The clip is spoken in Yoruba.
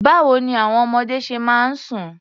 Báwo ní àwọn ọmọdé ṣe máa ń sùn?